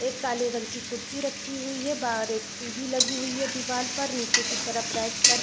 एक काले रंग की कुर्सी रखी हुई है बाहर एक टी_वी लगी हुई है दीवाल पर नीचे की तरफ रेक पर --